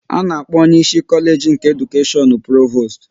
A na-akpọ onye ịsị Kolage nke Edukashion Provost